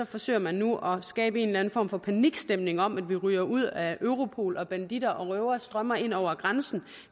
forsøger man nu at skabe en eller anden form for panikstemning om at vi ryger ud af europol og at banditter og røvere strømmer ind over grænsen